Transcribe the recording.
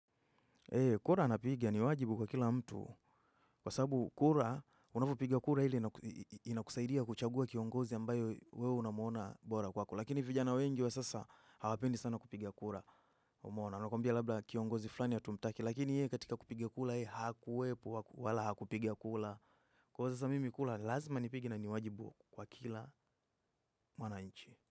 Kura napigia ni wajibu kwa kila mtu. Kwa sababu kura, unapopiga kura ile inakusaidia kuchagua kiongozi ambayo wewe unamuona bora kwako. Lakini vijana wengi wa sasa hawapendi sana kupiga kura umeona. Nakumbia labda kiongozi fulani hatumtaki. Lakini yeye katika kupiga kura yeye hakuwepo wala hakupiga kura. Kwa hivyo sasa mimi kura lazima nipige na ni wajibu kwa kila mwananchi.